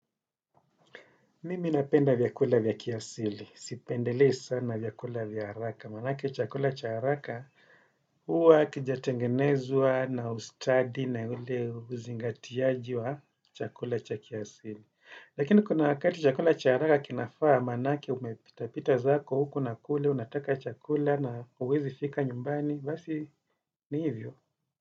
Mimi napenda vyakula vyakiasili. Sipendelei sana vyakula vyaraka. Manake chakula cha haraka uwa kijatengenezwa na ustadi na ule uzingatiaji wa chakula cha kiasili. Lakini kuna wakati chakula cha haraka kinafaa manake umetapita zako huku na kule, unataka chakula na uwezi fika nyumbani. Vasi ni hivyo.